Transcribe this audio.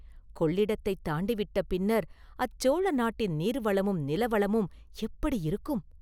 கொள்ளிடத்தைத் தாண்டி விட்ட பின்னர் அச்சோழ நாட்டின் நீர்வளமும் நிலவளமும் எப்படியிருக்கும்?